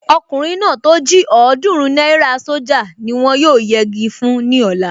Ọkùnrin náà tó jí ọ̀ọ́dúrún náírà sójà ni wọ́n yóò yegi fún ní ọ̀la